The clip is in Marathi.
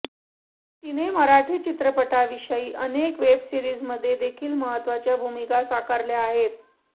तिने मराठी चित्रपटांशिवाय अनेक वेब सीरिजमध्ये देखील महत्त्वाच्या भूमिका साकारल्या आहे